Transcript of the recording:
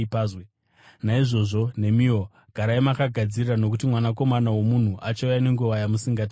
Naizvozvo nemiwo garai makagadzirira nokuti Mwanakomana woMunhu achauya nenguva yamusingamutarisiri.